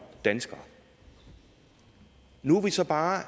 dansker nu er vi så bare